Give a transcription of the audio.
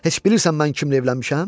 Heç bilirsən mən kimlə evlənmişəm?